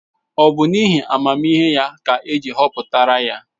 Ọ bụ n’ihi amamihe ya ka eji họpụtara ya?